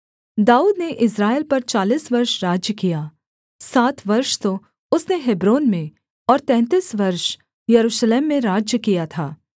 दाऊद ने इस्राएल पर चालीस वर्ष राज्य किया सात वर्ष तो उसने हेब्रोन में और तैंतीस वर्ष यरूशलेम में राज्य किया था